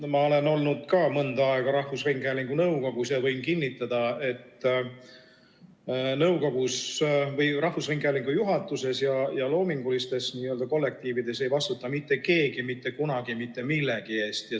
Ka mina olen olnud mõnda aega rahvusringhäälingu nõukogus ja võin kinnitada, et rahvusringhäälingu juhatuses ja loomingulistes kollektiivides ei vastuta mitte keegi mitte kunagi mitte millegi eest.